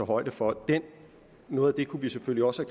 højde for noget af det kunne vi selvfølgelig også